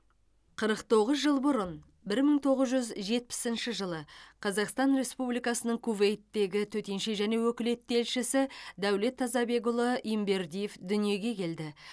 қырық тоғыз жыл бұрын бір мың тоғыз жүз жетпісініш жылы қазақстан республикасының кувейттегі төтенше және өкілетті елшісі дәулет тазабекұлы ембердиев дүниеге келді